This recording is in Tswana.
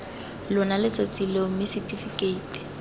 lona letsatsi leo mme setifikeiti